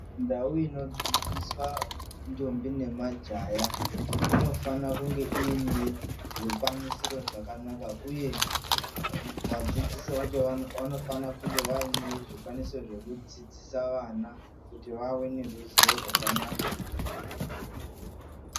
Ndau inodzidzisa ndombi nemajaha inofana kunge ine zvikwanisiro zvakanaka uye vadzidzisi vakona vanofanirwa kunge vane zvikwanisiro zvakanaka kuti vadzidzise vana.